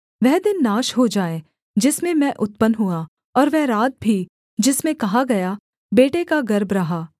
वह दिन नाश हो जाए जिसमें मैं उत्पन्न हुआ और वह रात भी जिसमें कहा गया बेटे का गर्भ रहा